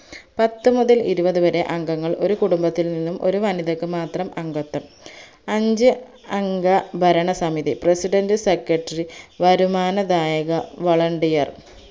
പത്തുമുതൽ ഇരുപതുവരെ അംഗങ്ങൾ ഒരുകുടുംബത്തിൽ നിന്ന് ഒരുവനിതക്ക് മാത്രം അംഗത്വം അഞ്ചു അംഗ ഭരണസമിതി president secretary വരുമാനദായക volunteer